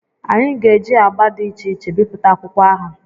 Anyị ga-eji agba dị iche iche bipụta akwụkwọ ahụ.